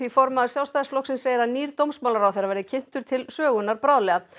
formaður Sjálfstæðisflokksins segir að nýr dómsmálaráðherra verði kynntur til sögunnar bráðlega